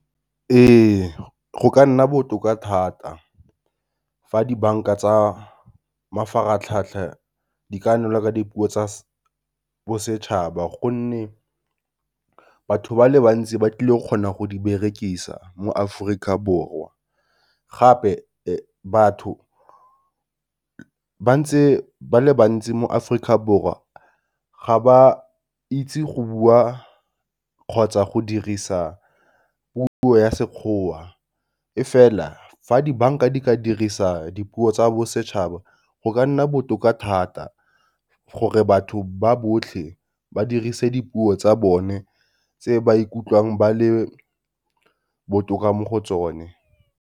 Ee go ka nna botoka thata fa di-bank-a tsa mafaratlhatlha di ka nelwa ka dipuo tsa bosetšhaba gonne batho ba le bantsi ba tlile o kgona go di berekisa mo Aforika Borwa. Gape batho ba ntse ba le bantsi mo Aforika Borwa ga ba itse go bua kgotsa go dirisa puo ya sekgoa, e fela fa di-bank-a di ka dirisa dipuo tsa bosetšhaba go ka nna botoka thata gore batho ba botlhe ba dirise dipuo tsa bone tse ba ikutlwang ba le botoka mo go tsone.